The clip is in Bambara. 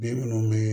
Den munnu be